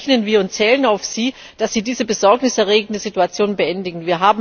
Deswegen rechnen wir mit Ihnen und zählen auf Sie, dass Sie diese besorgniserregende Situation beendigen.